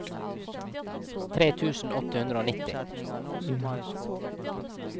tre tusen åtte hundre og nitti